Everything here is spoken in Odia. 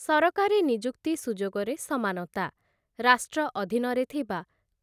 ସରକାରୀ ନିଯୁକ୍ତି ସୁଯୋଗରେ ସମାନତା । ରାଷ୍ଟ୍ର ଅଧିନରେ ଥିବା